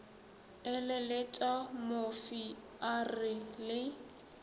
eleletša mofi a re le